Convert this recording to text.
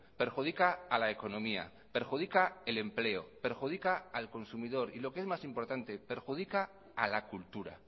perjudica a la economía perjudica el empleo perjudica al consumidor y lo que es más importante perjudica a la cultura